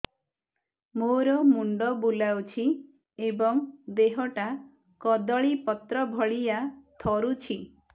ମୋର ମୁଣ୍ଡ ବୁଲାଉଛି ଏବଂ ଦେହଟା କଦଳୀପତ୍ର ଭଳିଆ ଥରୁଛି